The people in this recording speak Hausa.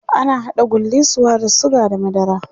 ana haɗa gullisuwa da sugar da madara